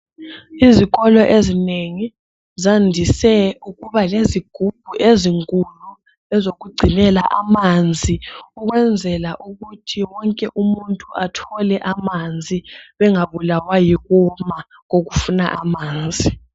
Izikolo ezinengi zandise ukuba lezigubhu ezinkulu ezokugcinela amanzi ukwenzela ukuthi wonke umuntu athole amanzi bengabulawa yikoma kokuswela amanzi.